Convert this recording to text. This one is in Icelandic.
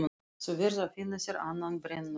Þú verður að finna þér annan brennuvarg.